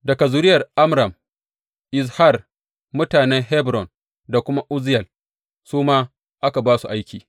Daga zuriyar Amram, Izhar, mutanen Hebron da kuma Uzziyel, su ma aka ba su aiki.